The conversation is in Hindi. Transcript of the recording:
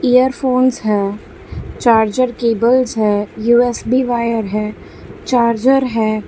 इयरफोंस है चार्जर केबल्स है यू_एस_बी वायर है चार्जर है।